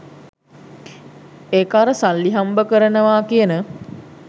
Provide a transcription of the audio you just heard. ඒක අර සල්ලි හම්බකරනවා කියන